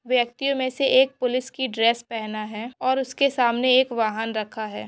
व्यक्ति यों मेसे एक पुलिस की ड्रेस पेहना है और उसके सामने एक वाहन रखा है।